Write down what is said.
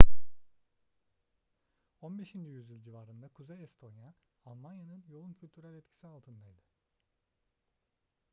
15. yüzyıl civarında kuzey estonya almanya'nın yoğun kültürel etkisi altındaydı